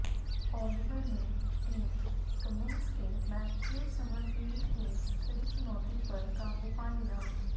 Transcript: Oliver ने Tim Cummins के Matthew Summerfield की कड़ी चुनौती पर काबू पा लिया